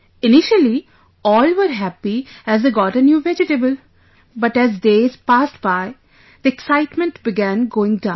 Initially, all were happy as they got a new vegetable, but as days passed by the excitement began going down